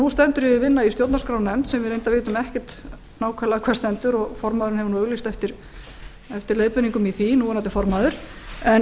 nú stendur yfir vinna í stjórnarskrárnefnd sem við reyndar vitum ekkert nákvæmlega hvar stendur og formaðurinn hefur nú auglýst eftir leiðbeiningum í því núverandi formaður en ég